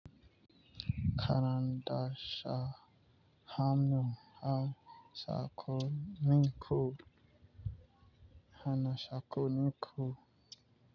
Karanta sa hannun saƙonin ku hana saƙonin ku.